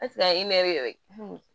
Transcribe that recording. a ye nɛgɛ